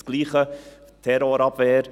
Dasselbe gilt für die Terrorabwehr.